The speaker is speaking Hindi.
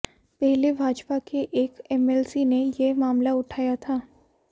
पहले भाजपा के एक एमएलसी ने यह मामला उठाया था